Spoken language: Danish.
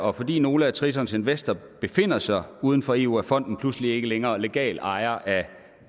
og fordi nogle af tritons investorer befinder sig uden for eu er fonden pludselig ikke længere legal ejer af